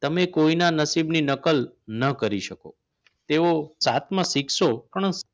તમે કોઈના નસીબ ની નકલ ન કરી શકો. તેઓ સાતમાં શીખશો